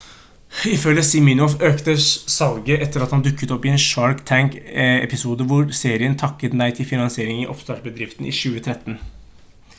ifølge siminoff økte salget etter han dukket opp i en shark tank-episode hvor serien takket nei til finansiering av oppstartsbedriften i 2013